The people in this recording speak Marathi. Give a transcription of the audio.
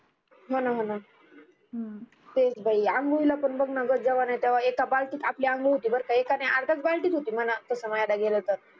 होना होना हम्म तेच बाई आंघोळीला पान बघ ना ग जेव्हा नाही तेव्हा एक बालटीत एक नाही अर्ध्याच बालटीत होते म्हणा तस म्हणायला गेल तर